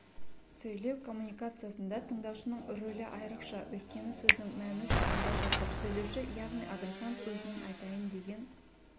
сөйлеу коммуникациясында тыңдаушының рөлі айрықша өйткені сөздің мәні сонда жатыр сөйлеуші яғни адресант өзінің айтайын деген